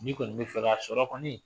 Ni kɔnɔi bɛ fɛ K'a sɔr kɔni